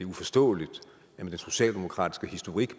uforståeligt med den socialdemokratiske historik